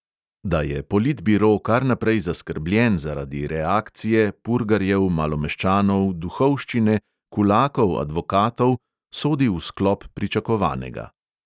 Da je politbiro kar naprej zaskrbljen zaradi reakcije, purgarjev, malomeščanov, duhovščine, kulakov, advokatov, sodi v sklop pričakovanega.